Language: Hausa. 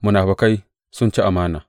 Munafukai sun ci amana!